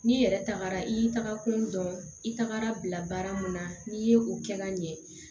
N'i yɛrɛ tagara i tagakun dɔn i tagara bila baara mun na n'i ye o kɛ ka ɲɛ